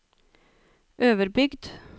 Øverbygd